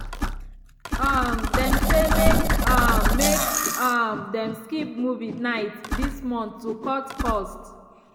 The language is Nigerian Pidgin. um dem say make um make um dem skip movie night this month to cut cost.